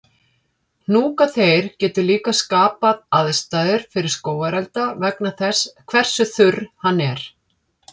Hnjúkaþeyr getur líka skapað aðstæður fyrir skógarelda vegna þess hversu þurr hann er.